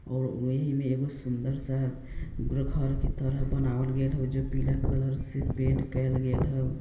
और वही में ए गो सुन्दर सा घर के तरह बनावल गेल हाउ जेय पीला कलर से पेंट केल गेल हाउ।